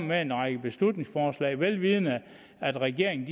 med en række beslutningsforslag velvidende at regeringen